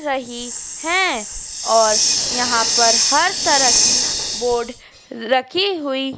रही है और यहां पर हर तरह की बोर्ड रखी हुई--